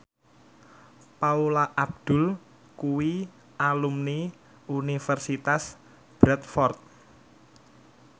Paula Abdul kuwi alumni Universitas Bradford